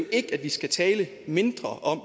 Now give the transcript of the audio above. ikke at vi skal tale mindre om